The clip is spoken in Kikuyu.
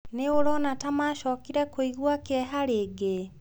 Nĩ ũrona ta maacokire kũigua kĩeha rĩngĩ?